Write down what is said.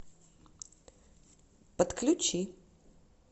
подключи